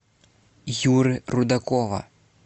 юры рудакова